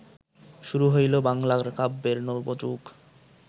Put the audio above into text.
শুরু হইল বাংলার কাব্যের নবযুগ